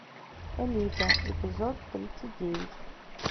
элита эпизод тридцать девять